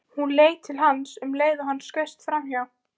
Hún leit til hans um leið og hann skaust framhjá.